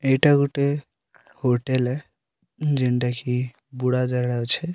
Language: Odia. ଏଇଟା ଗୋଟେ ହୋଟେଲ୍ ହେ ଜେଣ୍ଟା କି ଯାଉଛେ।